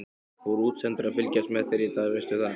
Voru útsendarar að fylgjast með þér í dag, veistu það?